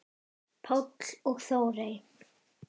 Páll og Þórey.